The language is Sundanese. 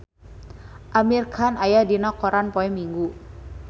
Amir Khan aya dina koran poe Minggon